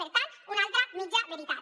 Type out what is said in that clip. per tant una altra mitja veritat